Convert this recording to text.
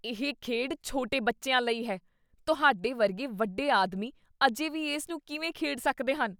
ਇਹ ਖੇਡ ਛੋਟੇ ਬੱਚਿਆਂ ਲਈ ਹੈ। ਤੁਹਾਡੇ ਵਰਗੇ ਵੱਡੇ ਆਦਮੀ ਅਜੇ ਵੀ ਇਸ ਨੂੰ ਕਿਵੇਂ ਖੇਡ ਸਕਦੇ ਹਨ?